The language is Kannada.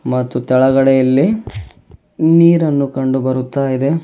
ಮತ್ತು ತೆಳಗಡೆ ಇಲ್ಲಿ ನೀರನ್ನು ಕಂಡು ಬರುತಾ ಇದೆ.